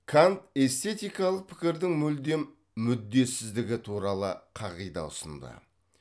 кант эстететикалық пікірдің мүлдем мүддесіздігі туралы қағида ұсынды